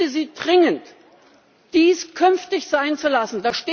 Ich bitte Sie dringend, dies künftig sein zu lassen.